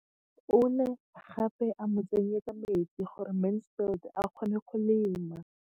O ne gape a mo tsenyetsa metsi gore Mansfield a kgone go lema.